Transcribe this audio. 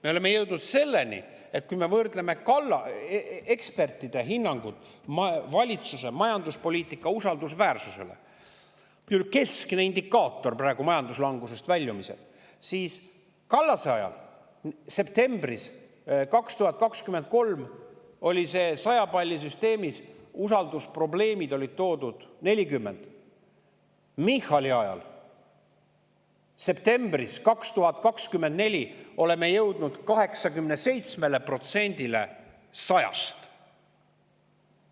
Me oleme jõudnud selleni, et kui me võrdleme ekspertide hinnangut valitsuse majanduspoliitika usaldusväärsuse kohta – keskne indikaator praegu majanduslangusest väljumisel – siis Kallase ajal, septembris 2023, oli 100 palli süsteemis usaldusprobleemide 40 palli, aga Michali ajal, septembris 2024, oleme jõudnud 87-le 100-st.